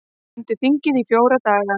Stendur þingið í fjóra daga